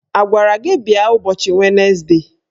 A gwara gị bịa ụbọchị wenesde?